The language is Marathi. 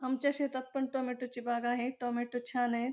आमच्या शेतात पण टोमॅटो ची बाग आहे टोमॅटो छान आहेत.